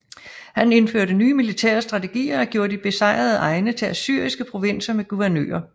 Han indførte nye militære strategier og gjorde de besejrede egne til assyriske provinser med guvernører